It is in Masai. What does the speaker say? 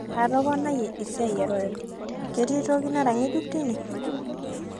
atoponayie esia ee royal, ketii toki nara ng'ejuk tine